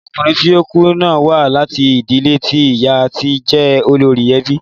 Ọkùnrin tí ó kú náà wá láti ìdílé tí ìyá ti jẹ́ olórí ẹbí.